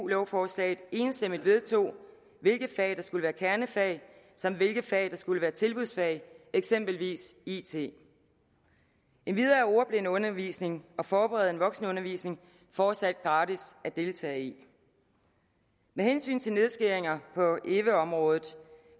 lovforslaget enstemmigt vedtog hvilke fag der skulle være kernefag samt hvilke fag der skulle være tilbudsfag eksempelvis it endvidere er ordblindeundervisning og forberedende voksenundervisning fortsat gratis at deltage i med hensyn til nedskæringer på eve området